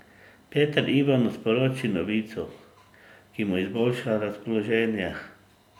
Peter Ivanu sporoči novico, ki mu izboljša razpoloženje.